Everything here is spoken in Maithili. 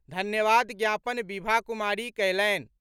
धन्यवाद ज्ञापन बिभा कुमारी कयलनि।